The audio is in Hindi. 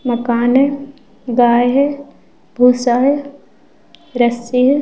मकान है गाय है भूसा है रस्सी है ।